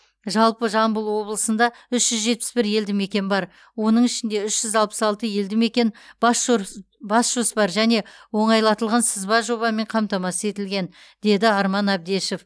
жалпы жамбыл облысында үш жүз жетпіс бір елді мекен бар оның ішінде үш жүз алпыс алты елді мекен бас жор бас жоспар және оңайлатылған сызба жобамен қамтамасыз етілген деді арман әбдешов